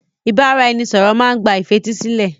Ìbáraẹnisọ̀rọ̀ má n gba ìfetísílẹ̀.